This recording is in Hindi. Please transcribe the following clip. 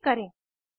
उंडो पर क्लिक करें